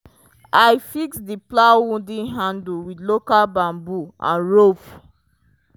i fix the plow wooden handle with local bamboo and rope.